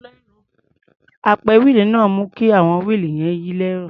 Apẹ wíìlì náà ń mú kí àwọn wíìlì yẹn yí lẹ́rọ̀.